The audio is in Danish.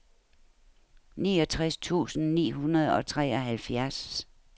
niogtres tusind ni hundrede og treoghalvfjerds